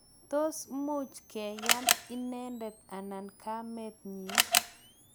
tos much keyan inendet anan kamet nyin?